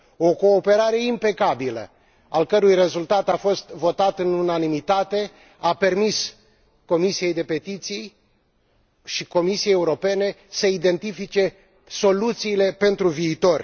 O cooperare impecabilă, al cărei rezultat a fost votat în unanimitate, a permis Comisiei pentru petiții și Comisiei Europene să identifice soluțiile pentru viitor.